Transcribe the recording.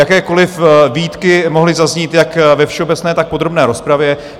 Jakékoliv výtky mohly zaznít jak ve všeobecné, tak v podrobné rozpravě.